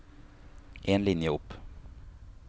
En linje opp